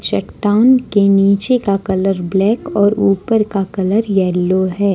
चट्टान के नीचे का कलर ब्लैक और ऊपर का कलर येलो है।